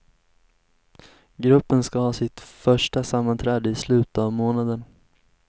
Gruppen ska ha sitt första sammanträde i slutet av månaden.